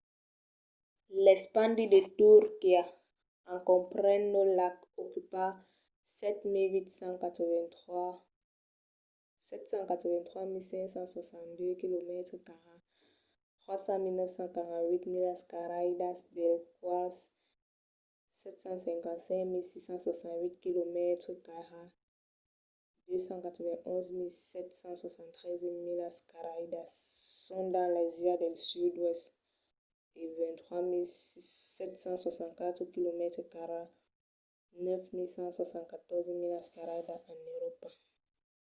l’espandi de turquia en comprenent los lacs ocupa 783.562 quilomètres cairats 300.948 milas cairadas dels quals 755.688 quilomètres cairats 291.773 milas cairadas son dins l’àsia del sud-oèst e 23.764 quilomètres cairats 9.174 milas cairadas en euròpa